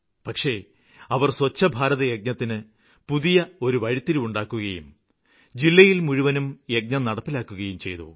പക്ഷേ അവര് സ്വച്ഛ ഭാരത യജ്ഞത്തിന് ഒരു പുതിയ വഴിത്തിരിവുണ്ടാക്കുകയും ജില്ലയില് മുഴുവനും യജ്ഞം നടപ്പാക്കുകയും ചെയ്തു